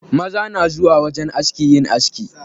Maza na zuwa wajen aski yin aski.